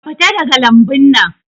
Ka fita daga lambun nan